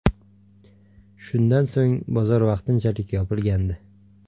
Shundan so‘ng, bozor vaqtinchalik yopilgandi.